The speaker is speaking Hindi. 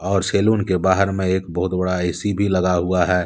और सैलून के बाहर में एक बहुत बड़ा ए_सी भी लगा हुआ है।